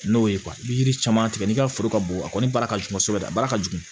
N'o ye yiri caman tigɛ n'i ka foro ka bon a kɔni baara ka jugu kosɛbɛ a baara ka jugu